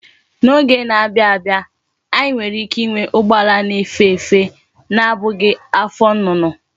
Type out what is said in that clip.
N'oge na-abia abia, anyi nwere ike inwe ugbo ala na efe efe, na abughi afo nnunu